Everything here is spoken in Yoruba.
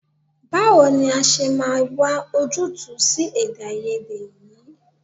Báwo ni a ṣe máa wà ojútùú sí èdèàìyedè yìí?